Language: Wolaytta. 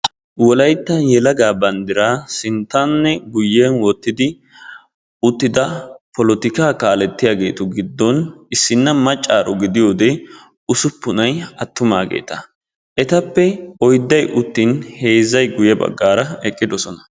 Wolaytta yelaga banddira sinttanne guyyen wottidi uttida polotikka kaalletiyaagetu giddon issi maccaaro gidiyoode ussupunay attumageeta. Etappe oydday uttin heezzay qa ya baggaara eqqidoosona.